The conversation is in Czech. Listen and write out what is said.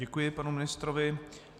Děkuji panu ministrovi.